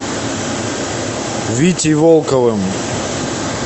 витей волковым